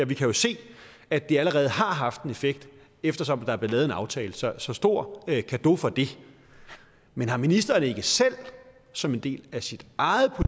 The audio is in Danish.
vi kan jo se at det allerede har haft en effekt eftersom der er blevet lavet en aftale så så stor cadeau for det men har ministeren ikke selv som en del af sit eget